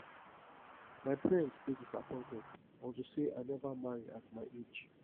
my parents dey disappointed unto say i never marry at my age